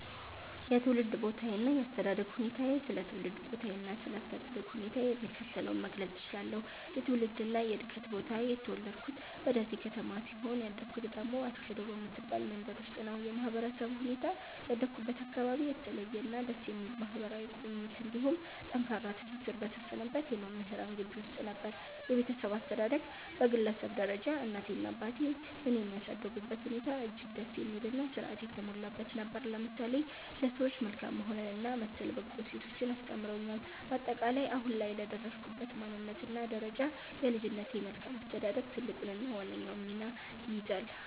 የትውልድ ቦታዬና የአስተዳደግ ሁኔታዬ ስለ ትውልድ ቦታዬና ስለ አስተዳደግ ሁኔታዬ የሚከተለውን መግለጽ እችላለሁ፦ የትውልድና የዕድገት ቦታዬ፦ የተወለድኩት በደሴ ከተማ ሲሆን፣ ያደግኩት ደግሞ አስገዶ በምትባል መንደር ውስጥ ነው። የማህበረሰቡ ሁኔታ፦ ያደግኩበት አካባቢ የተለየና ደስ የሚል ማህበራዊ ቁርኝት እንዲሁም ጠንካራ ትስስር በሰፈነበት የመምህራን ግቢ ውስጥ ነበር። የቤተሰብ አስተዳደግ፦ በግለሰብ ደረጃ እናቴና አባቴ እኔን ያሳደጉበት ሁኔታ እጅግ ደስ የሚልና ሥርዓት የተሞላበት ነበር፤ ለምሳሌ ለሰዎች መልካም መሆንንና መሰል በጎ እሴቶችን አስተምረውኛል። ባጠቃላይ፦ አሁን ላይ ለደረስኩበት ማንነትና ደረጃ የልጅነቴ መልካም አስተዳደግ ትልቁንና ዋነኛውን ሚና ይይዛል።